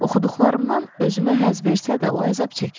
Oxuduqlarımdan özümə həzz versə də, o əzab çəkir.